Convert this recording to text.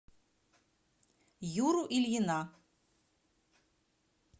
юру ильина